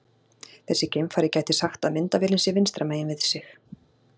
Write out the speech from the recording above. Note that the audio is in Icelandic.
Þessi geimfari gæti sagt að myndavélin sé vinstra megin við sig.